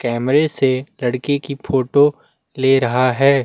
कैमरे से लड़के की फोटो ले रहा है।